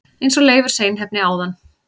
eins og Leifur seinheppni áðan!